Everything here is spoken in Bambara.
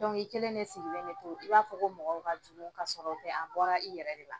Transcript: i kelen de sigilen bɛ to, i b'a fɔ ko mɔgɔw ka jugu ka sɔrɔ o tɛ, a bɔra i yɛrɛ de la.